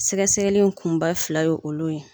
Sɛgɛsɛgɛli kunba fila ye olu ye.